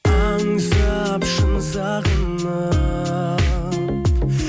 аңсап шын сағынып